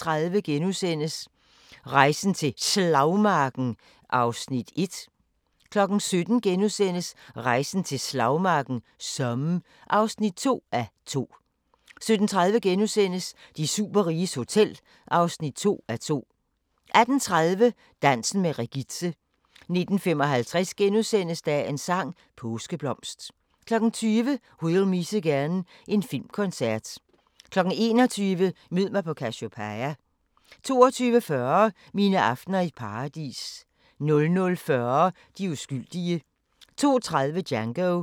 16:30: Rejsen til Slagmarken (1:2)* 17:00: Rejsen til Slagmarken: Somme (2:2)* 17:30: De superriges hotel (2:2)* 18:30: Dansen med Regitze 19:55: Dagens sang: Påskeblomst * 20:00: We'll Meet Again – en filmkoncert 21:00: Mød mig på Cassiopeia 22:40: Mine aftener i Paradis 00:40: De uskyldige 02:30: Django